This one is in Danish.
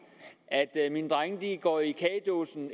at at mine drenge går i kagedåsen